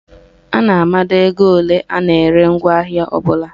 A na-amado ego ole a na-ere ngwaahịa ọbụla.